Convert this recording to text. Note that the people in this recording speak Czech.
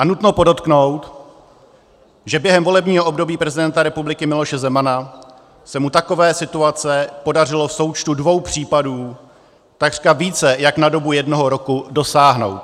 A nutno podotknout, že během volebního období prezidenta republiky Miloše Zemana se mu takové situace podařilo v součtu dvou případů takřka více jak na dobu jednoho roku dosáhnout.